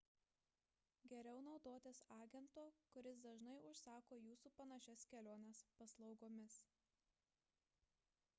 geriau naudotis agento kuris dažnai užsako į jūsų panašias keliones paslaugomis